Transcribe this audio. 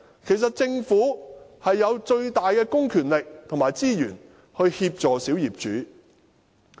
其實，政府擁有最大的公權力和資源，可以協助小業主。